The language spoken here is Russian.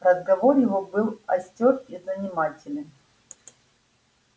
разговор его был остёр и занимателен